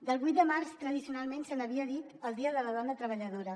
del vuit de març tradicionalment se n’havia dit el dia de la dona treballadora